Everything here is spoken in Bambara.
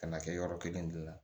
Ka na kɛ yɔrɔ kelen dun